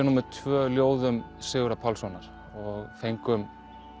númer tvö ljóðum Sigurðar Pálssonar og fengum